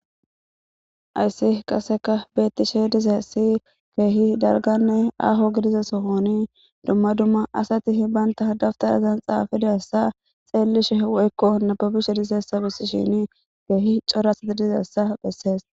Hayssi qaseka beettishe dize si keehi dalganne aho gidiza sohoni dumma dumma asatii baynta dabtarazan xaafidassa xeellishe woykko nababishe disessa bissi shini keehi cora asati dizessa bessees.